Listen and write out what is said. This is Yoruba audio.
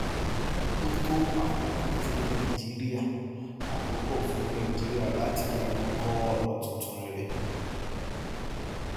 ó tó àkókò fún nàìjíríà àkókò fún nàìjíríà láti yàgbọn kọ ọnà tuntun rere